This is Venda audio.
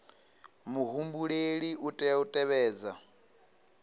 muhumbeli u tea u tevhedza